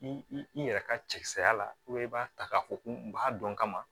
I yɛrɛ ka cɛsiriya la i b'a ta k'a fɔ ko n b'a dɔn kaban